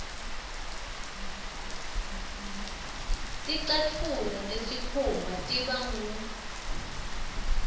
ticatfulo tesikhumba tiba ngur